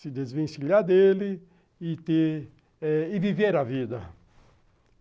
se desvencilhar dele e ter e viver a vida.